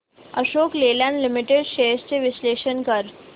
Ashok Leyland limited shares चे विश्लेषण कर